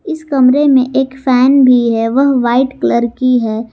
इस कमरे में एक फैन भी है वह वाइट कलर की है।